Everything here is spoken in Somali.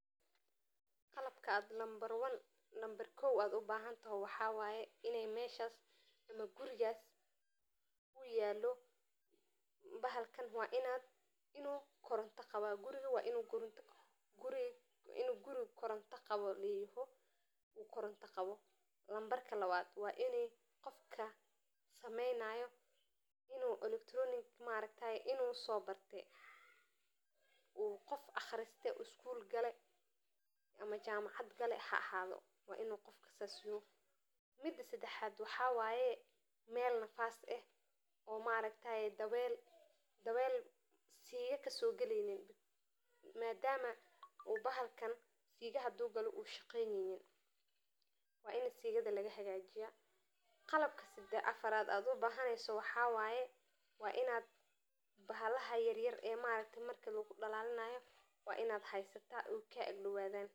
Qalabka aad nambar one mise nambar kow aad ubahante waxawaye wa iney meshaas ama gurigas uyaalo bahalkan wainu koronta qaba, nambarka lawaad, waini qofka sameynaayo inu electronic maaragtaye inu sobarte uu qof aqriste skul gale ama jamacad gale haahaado, wainu qof sas yaho, mida sadaxaad, waxawaye mel nafas eh oo maaragtaaye daweel mise siigo kasogaleynin madama u bahalkan siigo hadu galo ushaqeyneynin waini sigada laga hagajiya. qalabka afaraad aad ubahaneyso waxa waye wa inaad bahalaha yaryar ee maaragte marki lagudhalalinaayo wa inaad heysata oo kaa ag dhawadan